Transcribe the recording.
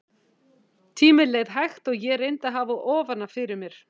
Tíminn leið hægt og ég reyndi að hafa ofan af fyrir mér.